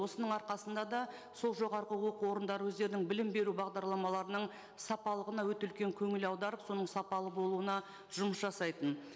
осының арқасында да сол жоғарғы оқу орындары өздерінің білім беру бағдарламаларының сапалығына өте үлкен көңіл аударып соның сапалы болуына жұмыс жасайтын